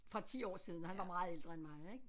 For 10 år siden han var meget ældre end mig ik